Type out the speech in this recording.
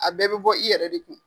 A bɛɛ be bɔ i yɛrɛ de kun.